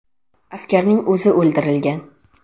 Askarning o‘zi o‘ldirilgan.